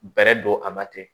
Bɛrɛ don a ba tɛ